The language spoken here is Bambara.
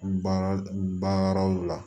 Baarayɔrɔw la